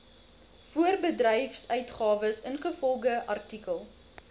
voorbedryfsuitgawes ingevolge artikel